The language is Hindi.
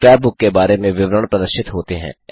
स्क्रैप बुक के बारे में विवरण प्रदर्शित होते हैं